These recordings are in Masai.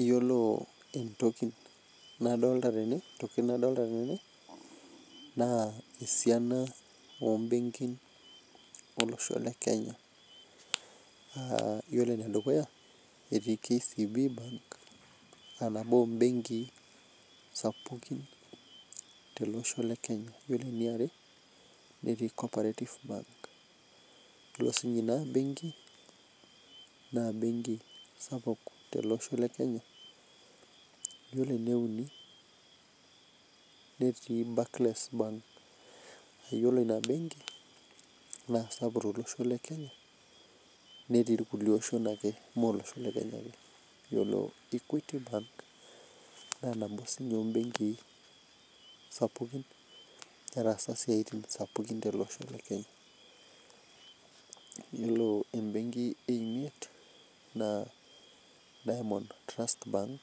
Iyiolo ntokitin nadolita tene naa esiana oo benkin olosho lee Kenya iyiolo ene dukuya etii KCB bank aa nabo obenkii sapukin tele Osho le Kenya ore eniare netii co_operative bank duo sinye Ina benkii naa naa benki sapuk tele Osho le Kenya ore ene uni netii Barclays bank eyiolou naa benki na sapuk netii na kulie oshon ake mme olosho le Kenya ake ore equity bank naa nabo sininyee oo benkii sapukin netasaka esiatin sapukin tele Osho le Kenya iyiolo ebenki emiet naa Diamond trust bank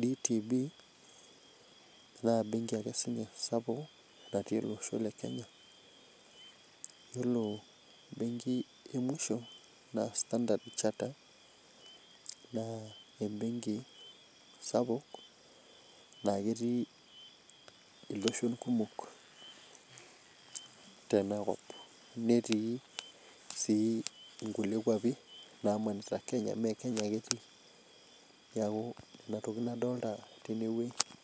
D.T.B naa benkii ake sininye sapuk natii olosho. Le Kenya ore benki emusho naa standard charter naa ebenki sapuk naa ketii eloshon kumok Tena kop netii sii enkulie kwapie namaanita Kenya mmee Kenya ake etii neeku Nena tokitin adolita Tena wueji